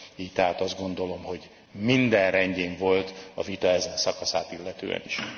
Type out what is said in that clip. Így tehát azt gondolom, hogy minden rendben volt a vita ezen szakaszát illetően is.